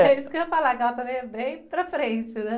É isso que eu ia falar, que ela também é bem para frente, né?